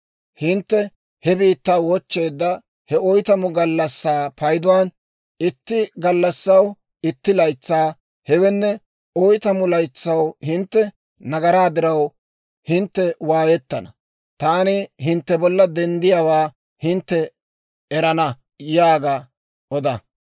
Hintte he biittaa wochcheedda he oytamu gallassaa payduwaan, itti gallassaw itti laytsaa, hewenne, oytamu laytsaw hintte nagaraa diraw hintte waayettana; taani hintte bolla denddiyaawaa hintte erana› yaaga oda.